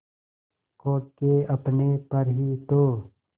खो के अपने पर ही तो